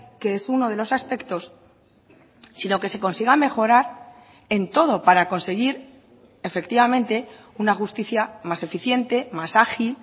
que es uno de los aspectos sino que se consiga mejorar en todo para conseguir efectivamente una justicia más eficiente más ágil